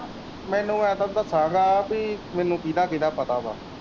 ਮੈਨੂੰ ਮੈਨੂੰ ਕੀਹਦਾ ਕੀਹਦਾ ਪਤਾ ਵਾ।